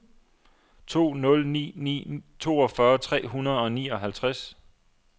to nul ni ni toogfyrre tre hundrede og nioghalvtreds